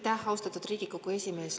Aitäh, austatud Riigikogu esimees!